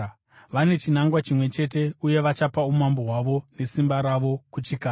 Vane chinangwa chimwe chete uye vachapa umambo hwavo nesimba ravo kuchikara.